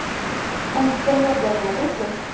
Konditsionerga nima deysiz?